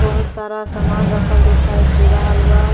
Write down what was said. बहुत सारा सामना रखल दिखाई दे रहल बा।